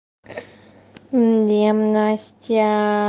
не настя